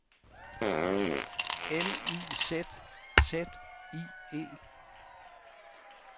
L I Z Z I E